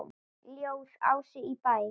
Ljóð: Ási í Bæ